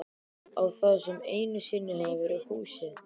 Á það sem einu sinni hafði verið húsið.